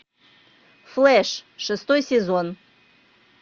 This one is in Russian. флэш шестой сезон